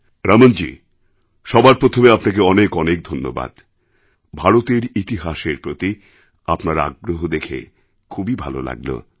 রমণজী সবার প্রথমে আপনাকে অনেক অনেক ধন্যবাদ ভারতের ইতিহাসের প্রতি আপনার আগ্রহ দেখে খুব ভালো লাগল